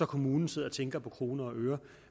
kommunen sidder og tænker på kroner og øre